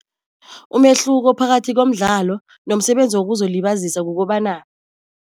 Umehluko phakathi komdlalo nomsebenzi wokuzwelibazisa kukobana